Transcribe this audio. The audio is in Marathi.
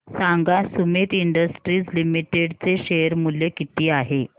सांगा सुमीत इंडस्ट्रीज लिमिटेड चे शेअर मूल्य किती आहे